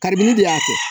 Karibini de y'a kɛ